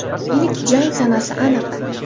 Ilk jang sanasi aniq.